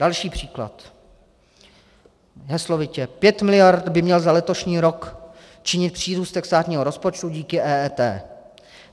Další příklad, heslovitě: Pět miliard by měl za letošní rok činit přírůstek státního rozpočtu díky EET.